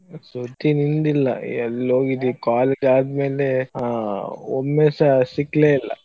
ಸುದ್ದಿ ನಿಂದಿಲ್ಲಾ ಎಲ್ಲೋಗಿದ್ದಿ college ಆದ್ಮೇಲೆ ಆ ಒಮ್ಮೆಸ ಸಿಗ್ಲೇ ಇಲ್ಲಾ.